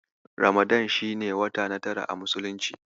Ramadana shi ne wata na tara a Muslunci.